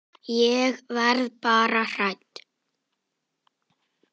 Ég verð bara hrædd.